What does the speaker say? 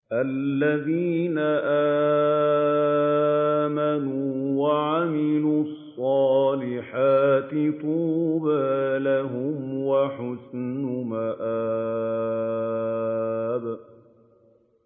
الَّذِينَ آمَنُوا وَعَمِلُوا الصَّالِحَاتِ طُوبَىٰ لَهُمْ وَحُسْنُ مَآبٍ